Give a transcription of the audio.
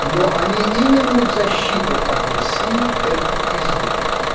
но они именно в защиту от россии это и сделают